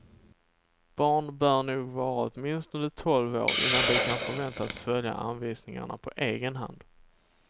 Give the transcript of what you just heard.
Barn bör nog vara åtminstone tolv år, innan de kan förväntas följa anvisningarna på egen hand.